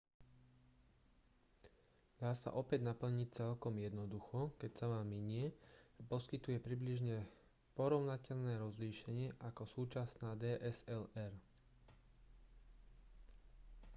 dá sa opäť naplniť celkom jednoducho keď sa vám minie a poskytuje približne porovnateľné rozlíšenie ako súčasná dslr